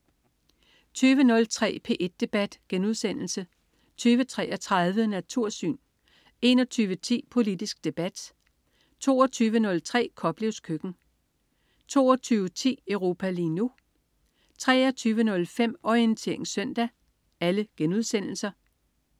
20.03 P1 Debat* 20.33 Natursyn* 21.10 Politisk debat* 22.03 Koplevs køkken* 22.10 Europa lige nu* 23.05 Orientering søndag*